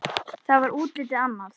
Þá var útlitið annað.